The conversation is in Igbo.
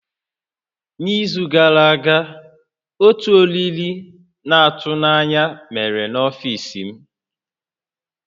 N'izu gara aga, otu oriri na-atụ n'anya mere n'ọfiisi m